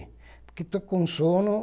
Porque estou com sono